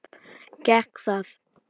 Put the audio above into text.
Gekk það?